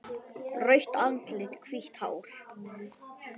Rautt andlit, hvítt hár.